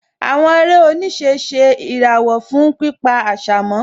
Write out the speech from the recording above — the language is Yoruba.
Àwọn eré oníṣẹ́ ṣe ìràwọ̀ fún pípa àṣà mọ́